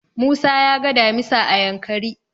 Musa ya ga damisa a Yankari.